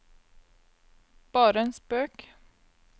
bare en spøk